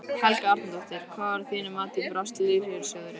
Helga Arnardóttir: Hvar að þínu mati brást lífeyrissjóðurinn?